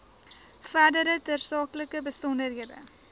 verdere tersaaklike besonderhede